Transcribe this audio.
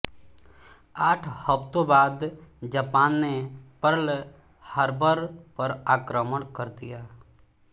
आठ हफ्तों बाद जापान ने पर्ल हार्बर पर आक्रमण कर दिया